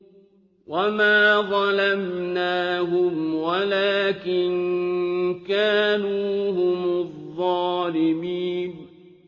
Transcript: وَمَا ظَلَمْنَاهُمْ وَلَٰكِن كَانُوا هُمُ الظَّالِمِينَ